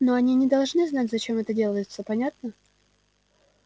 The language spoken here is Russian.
но они не должны знать зачем это делается понятно